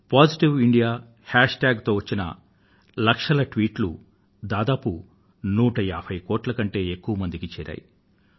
positive India hashtag తో వచ్చిన లక్షల ట్వీట్లు దాదాపు 150 కోట్ల కన్నా ఎక్కువ మందికి చేరాయి